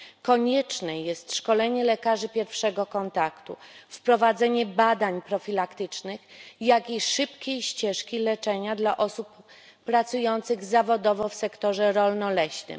Konieczne jest szkolenie lekarzy pierwszego kontaktu, wprowadzenie badań profilaktycznych, jak i szybkiej ścieżki leczenia dla osób pracujących zawodowo w sektorze rolno leśnym.